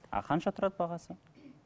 а қанша тұрады бағасы